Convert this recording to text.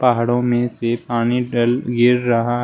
पहाड़ों में से पानी डल गिर रहा--